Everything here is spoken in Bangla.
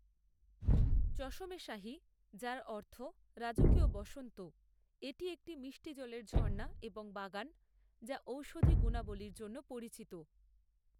চশমে শাহী, যার অর্থ “রাজকীয় বসন্ত”, এটি একটি মিষ্টি জলের ঝর্ণা এবং বাগান যা ঔষধি গুণাবলীর জন্য পরিচিত।